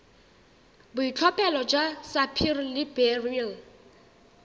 boitlhophelo jwa sapphire le beryl